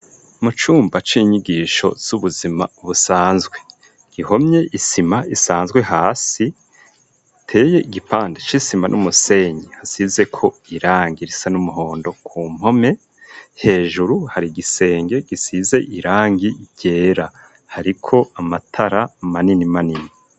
Mu cumba c'inyigisho c'ubuzima busanzwe gihomye isima isanzwe hasi iteye igipande c'isima n'umusenyi hasizeko risa n'umuhondo ku mpome, hejuru hari igisenge gisize irangi ryera. Hariko amatara manini.